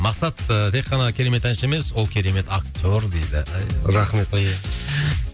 мақсат ы тек қана керемет әнші емес ол керемет актер дейді рахмет